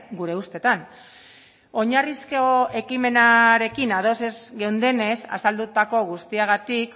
gure ustetan oinarrizko ekimenarekin ados ez geundenez azaldutako guztiagatik